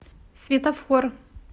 светофор